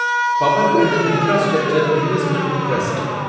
Powergrid infrastructure investment trust